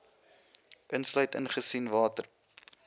insluit aangesien water